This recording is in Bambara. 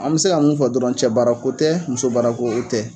An bɛ se ka mun fɔ dɔrɔn, cɛ baarako tɛ, muso baarako o tɛ.